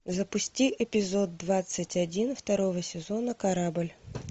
запусти эпизод двадцать один второго сезона корабль